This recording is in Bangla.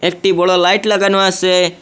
একটি বড় লাইট লাগানো আসে।